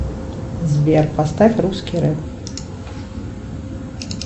сбер поставь русский рэп